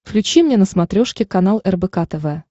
включи мне на смотрешке канал рбк тв